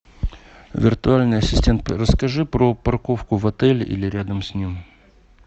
виртуальный ассистент расскажи про парковку в отеле или рядом с ним